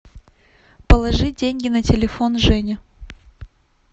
положи деньги на телефон жене